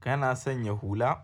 Kana sanya hula?